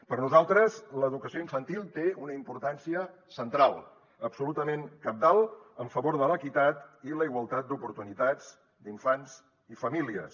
per nosaltres l’educació infantil té una importància central absolutament cabdal en favor de l’equitat i la igualtat d’oportunitats d’infants i famílies